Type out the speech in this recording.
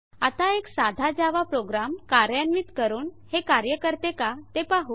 आता एक साधा जावा प्रोग्राम कार्यान्वित करून हे कार्य करते का ते पाहु